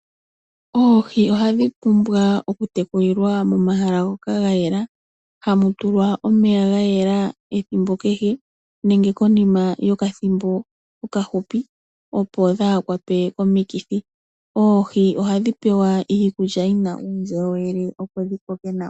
Oohi ohadhi pumbwa okutekulilwa momahala ngoka gayela hamu tulwa omeya gayela ethimbo kehe nenge konima yokathimbo okahupi opo dhaakwatwe komikithi, oohi ohadhi pewa iikulya yina uundjolowele opo dhikoke nawa.